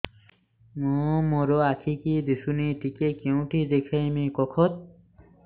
ମୋ ମା ର ଆଖି କି ଦିସୁନି ଟିକେ କେଉଁଠି ଦେଖେଇମି କଖତ